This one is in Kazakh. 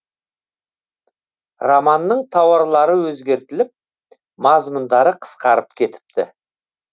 романның тараулары өзгертіліп мазмұндары қысқарып кетіпті